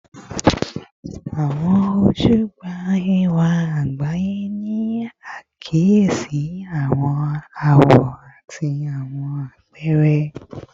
Awọn oju gba ẹwa agbaye, ni akiyesi awọn awọ ati awọn apẹrẹ